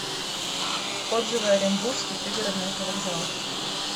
отзывы оренбургский пригородный автовокзал